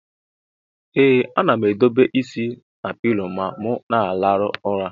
Ee anam edobe isi na pilo ma mu na alarụ ụla.